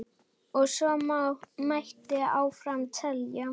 Og svo mætti áfram telja.